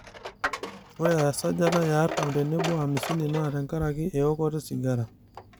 ore esajata e e artam tenebo o amisini naa te nkaraki eokoto sigara